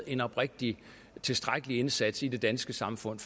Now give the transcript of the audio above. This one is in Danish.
en oprigtig tilstrækkelig indsats i det danske samfund